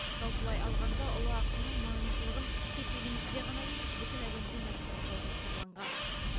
жалпылай алғанда ұлы ақынның маңыздылығын тек елімізде ғана емес бүкіл әлемде насихаттау жоспарланған